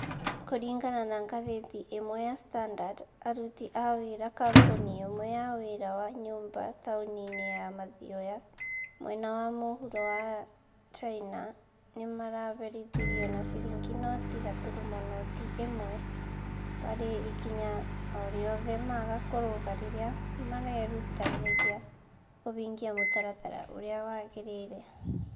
Kũringana na ngathĩti ĩmwe ya standard, aruti a wĩra kambuni ĩmwe ya wĩra wa nyũmba taũni-inĩ ya Mathioya, mwena wa mũhuro wa China, nĩ maaherithirio na ciringi noti gaturumo noti ĩmwe harĩ ikinya o rĩothe maga kũrũga rĩrĩa marerutanĩria kũhingia mũtaratara ũrĩa wagĩrĩire.